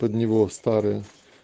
под него в старое